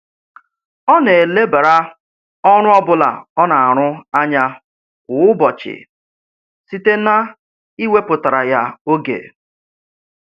Ọ na-elebara ọrụ ọbụla ọ na-arụ anya kwa ụbọchị site na-iwepụtara ya oge